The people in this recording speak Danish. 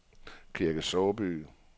Kirke Såby